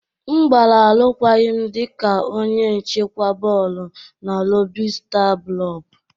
M gbara arụkwaghịm dị ka onye nchịkwa bọọlụ na lobi star blub.